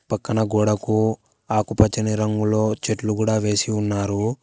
పక్కన గోడకు ఆకుపచ్చని రంగులో చెట్లు కూడా వేసి ఉన్నారు.